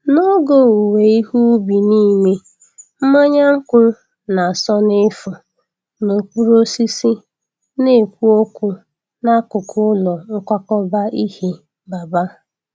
N’oge owuwe ihe ubi niile, mmanya nkwụ na-asọ n’efu n’okpuru osisi na-ekwu okwu n’akụkụ ụlọ nkwakọba ihe Baba.